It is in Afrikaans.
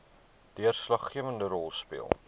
deurslaggewende rol speel